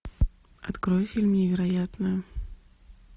открой фильм невероятное